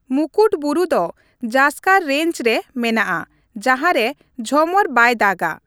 ᱢᱩᱠᱩᱴ ᱵᱩᱨᱩ ᱫᱚ ᱡᱟᱥᱠᱟᱨ ᱨᱮᱧᱡ ᱨᱮ ᱢᱮᱱᱟᱜᱼᱟ ᱡᱟᱦᱟᱸ ᱨᱮ ᱡᱷᱚᱢᱚᱨ ᱵᱟᱭ ᱫᱟᱜᱼᱟ ᱾